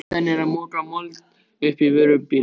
Ýtan er að moka mold upp á vörubíl.